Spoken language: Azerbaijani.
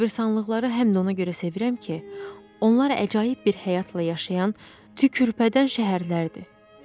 Qəbristanlıqları həm də ona görə sevirəm ki, onlar əcaib bir həyatla yaşayan tükürpədən şəhərlərdir.